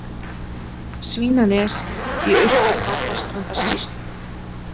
Svínanes í Austur-Barðastrandarsýslu.